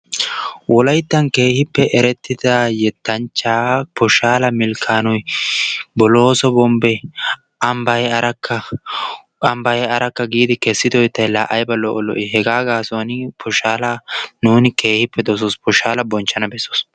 Wolayttan keehippe yettanchchaa Pishshaalo Milkkaanoy Boloosso Bombben ambbay arakka! Ambbay arakka giidi kessido yettay laa ayba lo'o lo'ii! Hegaa gaasuwan nuuni Pishshaala keehippe dosoos. Pishshaala bonchchana bessoos.